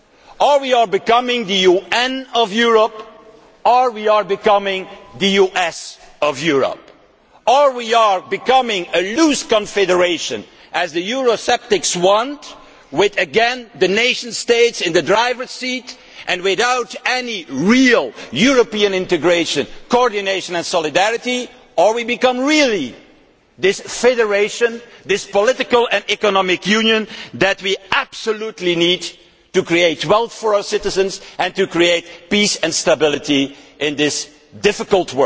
Either we are becoming the UN of Europe or we are becoming the US of Europe. Either we are becoming a loose confederation as the Eurosceptics want with once again nation states in the driving seat and without any real European integration, coordination and solidarity, or we really do become this federation and this political and economic union that we absolutely need in order to create wealth for our citizens and to create peace and stability in this difficult,